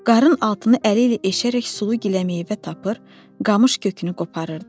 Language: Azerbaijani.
Qarın altını əli ilə eşərək sulu giləmeyvə tapır, qamış kökünü qoparırdı.